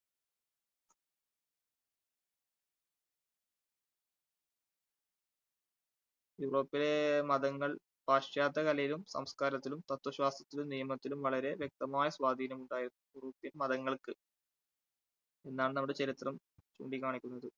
യൂറോപ്പിലെ മതങ്ങൾ പാശ്ചാത്യകലയിലും, സംസ്കാരത്തിലും, തത്വശാസ്ത്രത്തിലും, നിയമത്തിലും വളരെ വ്യക്തമായ സ്വാധീനമുണ്ടായിരുന്നു. europe പ്യൻ മതങ്ങൾക്ക് എന്നാണ് അവിടെ ചരിത്രം ചൂണ്ടികാണിക്കുന്നത്.